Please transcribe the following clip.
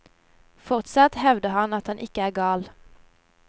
Fortsatt hevder han at han ikke er gal.